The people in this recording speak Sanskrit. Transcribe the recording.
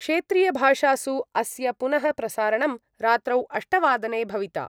क्षेत्रीयभाषासु अस्य पुनः प्रसारणं रात्रौ अष्टवादने भविता।